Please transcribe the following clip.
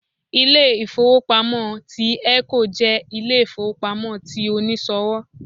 Ilé-ìfowópamọ́ ti 'Eco' jẹ́ Ilé-ìfowópamọ́ ti oníṣòwò